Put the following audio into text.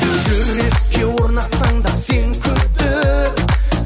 жүрекке орнатсаң да сен күдік